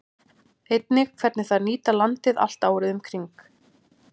Einnig hvernig þær nýta landið allt árið um kring.